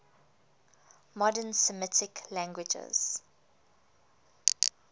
modern semitic languages